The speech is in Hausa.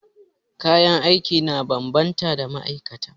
Kayan aiki na bambanta ma'aikata.